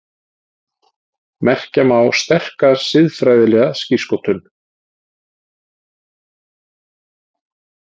Merkja má sterka siðfræðilega skírskotun.